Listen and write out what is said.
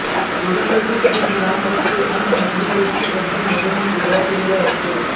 गोलंदाजी क्रीज लांब असते आणि मधली यष्टी अगदी मधोमध उभा केलेला असतो